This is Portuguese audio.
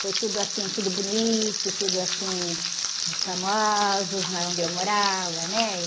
Foi tudo assim, tudo bonito, tudo assim, famosos lá onde eu morava, né?